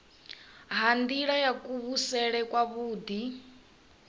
ha nila ya kuvhusele kwavhui